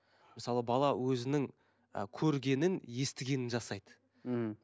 мысалы бала өзінің ы көргенін естігенін жасайды мхм